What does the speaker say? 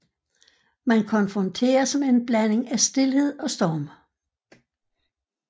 Man konfronteres med en blanding af stilhed og storm